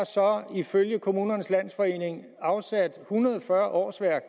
ifølge kommunernes landsforening afsat en hundrede og fyrre årsværk